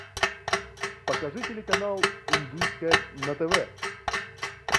покажи телеканал индийское на тв